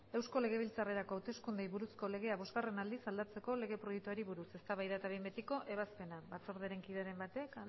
eusko legebiltzarrerako hauteskundeei buruzko legea bosgarren aldiz aldatzeko lege proiektuari buruz eztabaida eta behin betiko ebazpena batzorderen kideren batek